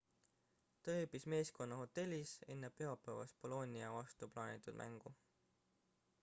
ta ööbis meeskonna hotellis enne pühapäevast bolonia vastu plaanitud mängu